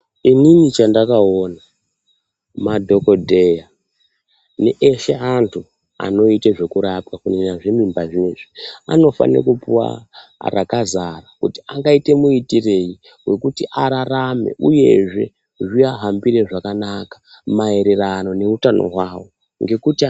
Ini chandakaona madhokodheya neeshe antu anoita zvekurapa kunyanya zvemimba zvinezvi vanofanira kupiwa rakazara kuti angaitira muitirei kuti ararame uyezve zvivahambire zvakanaka maererano neutano hwavo nekuti....